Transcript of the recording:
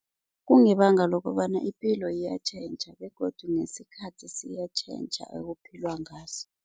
Kungebanga lokobana ipilo iyatjhentjha begodu nesikhathi siyatjhentjha ekuphilwa ngaso.